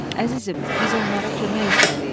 "Əzizim, biz onlara kömək etməliyik."